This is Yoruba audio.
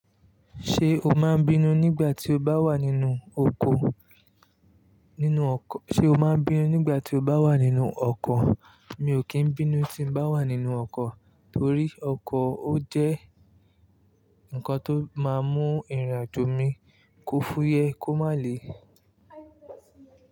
Ṣé o máa ń bínú nígbà tí o bá wà nínú oko? Sé o máa ń bínú nígbà tí o bá wà nínú ọkọ̀? Mi ò kí ń bínú tí n bá wà nínú ọkọ̀ torí ọkọ̀ ó jẹ́ nǹkan tó máa ń mú ìrìnàjò mi kò fúyẹ́ kò má le.